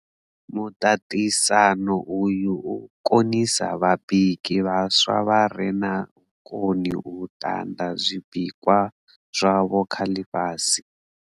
Muṱaṱisano uyu u konisa vhabiki vhaswa vha re na vhukoni u ṱanḓa zwibikwa zwavho kha ḽifhasi.